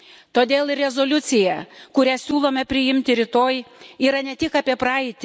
Todėl ir rezoliucija, kurią siūlome priimti rytoj, yra ne tik apie praeitį.